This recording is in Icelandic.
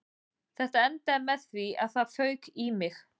Þetta endaði með því að það fauk í mig